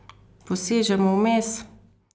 Posežemo vmes?